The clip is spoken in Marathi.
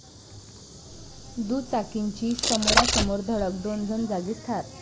दुचाकींची समोरासमोर धडक, दोन जण जागीच ठार